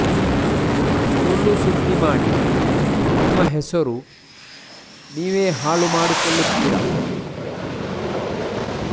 ಸುಳ್ಳು ಸುದ್ದಿ ಮಾಡಿ ನಿಮ್ಮ ಹೆಸರು ನೀವೆ ಹಾಳು ಮಾಡಿಕೊಳ್ಳುತ್ತೀರಾ